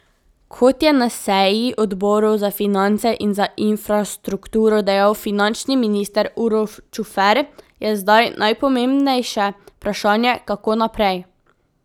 Kot je na seji odborov za finance in za infrastrukturo dejal finančni minister Uroš Čufer, je zdaj najpomembnejše vprašanje, kako naprej.